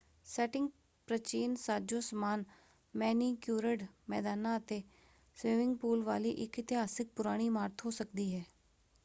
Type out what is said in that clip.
Setting ਪ੍ਰਚੀਨ ਸਾਜੋ-ਸਮਾਨ, manicured ਮੈਦਾਨਾਂ ਅਤੇ ਸਵੀਮਿੰਗ ਪੂਲ ਵਾਲੀ ਇੱਕ ਇਤਿਹਾਸਕ ਪੁਰਾਣੀ ਇਮਾਰਤ ਹੋ ਸਕਦੀ ਹੈ।